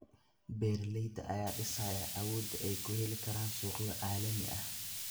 Beeralayda ayaa dhisaya awoodda ay ku heli karaan suuqyo caalami ah.